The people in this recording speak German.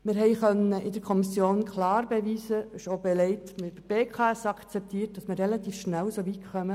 Wir konnten in der Kommission klar beweisen, dass man relativ schnell soweit kommt.